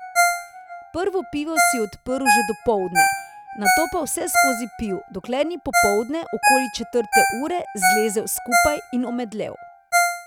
Prvo pivo si je odprl že dopoldne, nato pa vseskozi pil, dokler ni popoldne, okoli četrte ure, zlezel skupaj in omedlel.